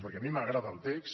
perquè a mi m’agrada el text